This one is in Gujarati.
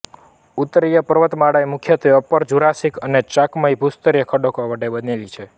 ઉત્તરીય પર્વતમાળા મુખ્યત્વે અપર જુરાસિક અને ચાકમય ભૂસ્તરીય ખડકો વડે બનેલી છે